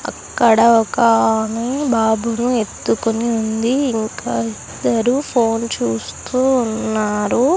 అక్కడ ఒక ఆమె బాబుని ఎత్తుకొని ఉంది ఇంకా ఇద్దరు ఫోన్ చూస్తూ ఉన్నారు.